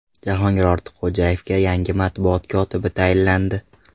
Jahongir Ortiqxo‘jayevga yangi matbuot kotibi tayinlandi.